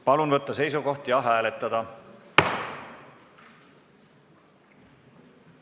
Palun võtta seisukoht ja hääletada!